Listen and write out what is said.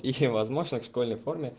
тихим возможно в школьной форме